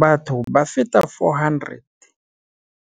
Batho ba feta 400